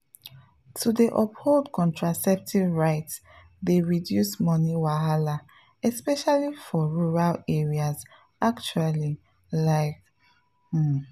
to dey uphold contraceptive rights dey reduce money wahala especially for rural areas actually like. um